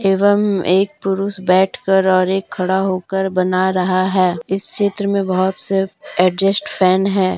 एवं एक पुरुष बैठकर और एक खड़ा होकर बना रहा है इस चित्र में बहुत से एडजस्ट फैन है।